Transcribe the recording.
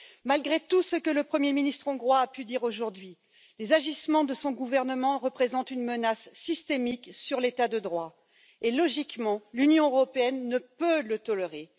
Malgré tout ce que le Premier ministre hongrois a pu dire aujourd'hui, les agissements de son gouvernement représentent une menace systémique sur l'état de droit et, logiquement, l'Union européenne ne peut le tolérer.